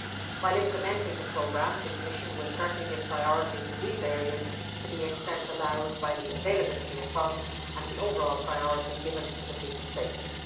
While implementing the programme, the Commission will certainly give priority to these areas to the extent allowed by the availability of funds and to the overall priority of safety.